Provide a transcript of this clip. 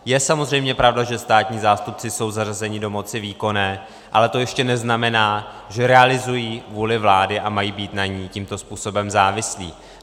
Je samozřejmě pravda, že státní zástupci jsou zařazeni do moci výkonné, ale to ještě neznamená, že realizují vůli vlády a mají být na ní tímto způsobem závislí.